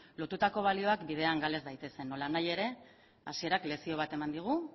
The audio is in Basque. lotutako balioak bidean gal ez daitezen nolanahi ere hasierak lezio bateman digu